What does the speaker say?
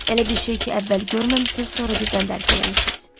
Elə bir şey ki, əvvəl görməmisiniz, sonra birdən dərk eləmisiniz.